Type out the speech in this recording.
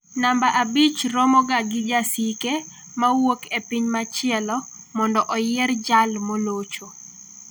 Namba abich romoga gi jasike ma wuok e piny machielo mondo oyier jal molocho.